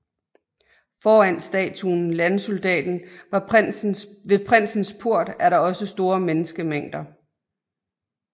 Foran statuen Landsoldaten ved Prinsens Port er der også store menneskemængder